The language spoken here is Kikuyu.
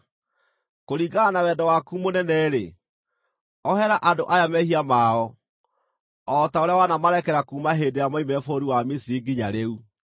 Kũringana na wendo waku mũnene-rĩ, ohera andũ aya mehia mao, o ta ũrĩa wanamarekera kuuma hĩndĩ ĩrĩa moimire bũrũri wa Misiri nginya rĩu.”